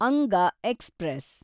ಅಂಗ ಎಕ್ಸ್‌ಪ್ರೆಸ್